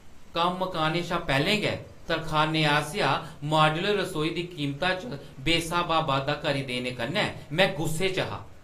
कम्म मकाने शा पैह्‌लें गै तरखानै आसेआ माड्‌यूलर रसोई दी कीमता च बेस्हाबा बाद्धा करी देने कन्नै में गुस्से च हा।